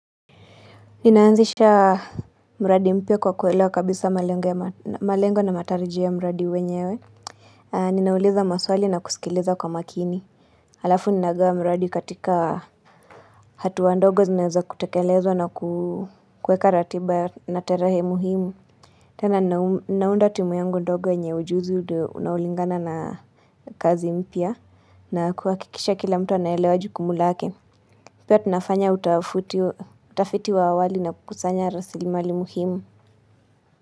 Ninaanzisha mradi mpya kwa kuewelewa kabisa malengo na matarijio ya mradi wenyewe ninauliza maswali na kusikiliza kwa makini Alafu ninagawa mradi katika hatua ndogo zinazo kutekeleza na kuweka ratiba na terahe muhimu tena ninaunda timu yangu ndogo yenye ujuzi unaoulingana na kazi mpya na kuhakikisha kila mtu anaelewa jukumu lake pia tunafanya utafiti wa awali na kukusanya rasili mali muhimu.